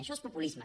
això és populisme